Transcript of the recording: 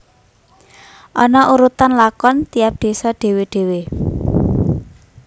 Ana urutan lakon tiap désa dhewè dhewè